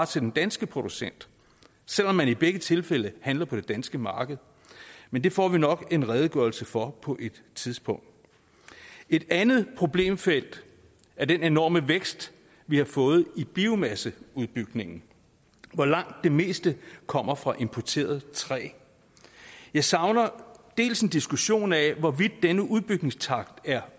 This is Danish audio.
til den danske producent selv om man i begge tilfælde handler på det danske marked men det får vi nok en redegørelse for på et tidspunkt et andet problemfelt er den enorme vækst vi har fået i biomasseudbygningen hvoraf langt det meste kommer fra importeret træ jeg savner dels en diskussion af hvorvidt denne udbygningstakt er